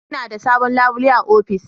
Ina da sabon labule a ofis.